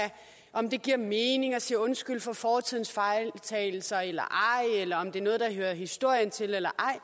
om det giver mening at sige undskyld for fortidens fejltagelser eller ej eller om det er noget der hører historien til eller ej